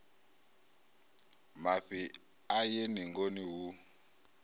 mafhi a ye ningoni hu